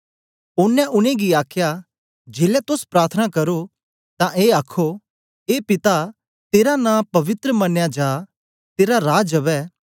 ओनें उनेंगी आखया जेलै तोस प्रार्थना करो तां ए आखो ए पिता तेरा नां पवित्र मनया जा तेरा राज अवै